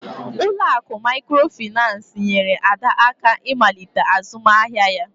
Ụlọ akụ Mikrofaịnsi nyeere Ada aka ịmalite azụmahịa ya